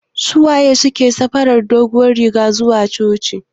Suwaye suke sa farar doguwar riga zuwa coci?